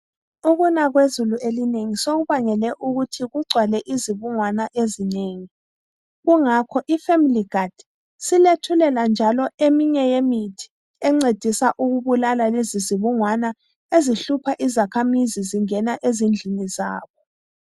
Ukuna kwezulu elinengi sokubangele ukuthi kugcwale izibungwana ezinengi. Kungakho iFamily guard isilethulela njalo eminye yemithi encedisa ukubulala lezi zibungwana ezihlupha izakhamizi zingena ezindlini zabo.